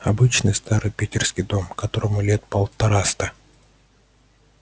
обычный старый питерский дом которому лет полтораста